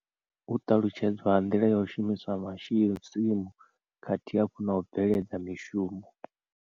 U ṱalutshedzwa ha nḓila yo u shumiswa tsimu khathihi afho no u bveledza mishumo.